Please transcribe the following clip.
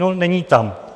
No není tam.